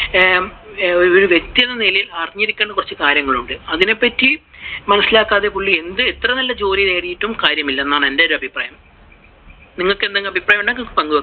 ആഹ് ഒരു വ്യക്തി എന്ന നിലയിൽ അറിഞ്ഞിരിക്കേണ്ട കുറച്ചു കാര്യങ്ങളുണ്ട് അതിനെപ്പറ്റി മനസിലാകാതെ പുള്ളി എന്ത് എത്ര നല്ല ജോലി നേടിയിട്ടും കാര്യമില്ല എന്നാണ് ഏറെ ഒരു അഭിപ്രായം. നിങ്ങള്‍ക്ക് എന്തെങ്കിലും അഭിപ്രായം ഉണ്ടെങ്കിൽ പങ്കുവെക്കാം.